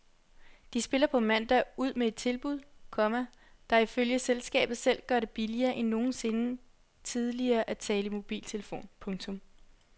De spiller på mandag ud med et tilbud, komma der ifølge selskabet selv gør det billigere end nogensinde tidligere at tale i mobiltelefon. punktum